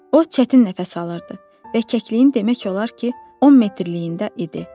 O çətin nəfəs alırdı və kəkliyin demək olar ki, 10 metrliliyində idi.